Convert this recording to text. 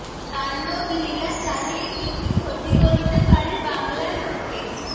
তাণ্ডবলীলা চালিয়ে কী কী ক্ষতি করতে পারে বাংলার বুকে